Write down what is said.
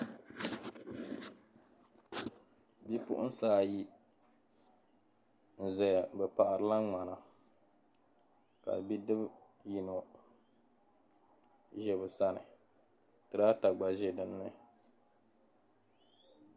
Bipuɣinsi ayi n zaya bi paɣiri la ŋmana ka bidib yino za bi sani "tractor" gba ʒe dinni